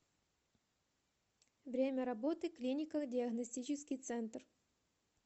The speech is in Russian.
время работы клинико диагностический центр